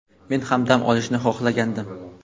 men ham dam olishni xohlagandim.